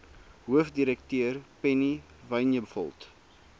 hoofdirekteur penny vinjevold